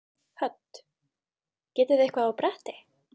Hödd: Getið þið eitthvað á bretti?